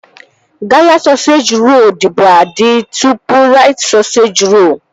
Gala sọseji rolu dịbu adị tụpụ Rait sọseji rolu